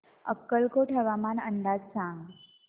अक्कलकोट हवामान अंदाज सांग